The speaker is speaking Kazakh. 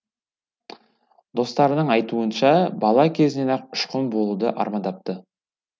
достарының айтуынша бала кезінен ақ ұшқын болуды армандапты